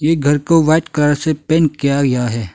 घर को white colour से पेन किया गया है।